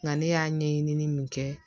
Nka ne y'a ɲɛɲini min kɛ